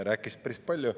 Rääkis päris palju.